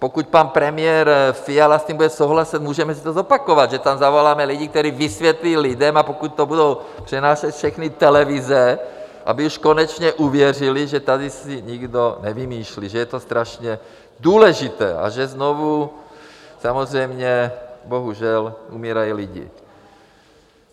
Pokud pan premiér Fiala s tím bude souhlasit, můžeme si to zopakovat, že tam zavoláme lidi, kteří vysvětlí lidem, a pokud to budou přenášet všechny televize, aby už konečně uvěřili, že tady si nikdo nevymýšlí, že je to strašně důležité a že znovu samozřejmě bohužel umírají lidé.